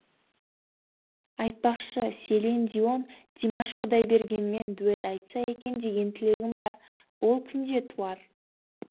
айтпақшы селин дион димаш құдайбергенмен дуэт айтса екен деген тілегім бар ол күн де туар